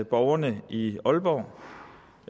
borgerne i aalborg